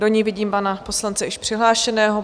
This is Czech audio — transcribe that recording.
Do ní vidím pana poslance již přihlášeného.